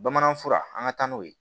Bamanan fura an ka taa n'o ye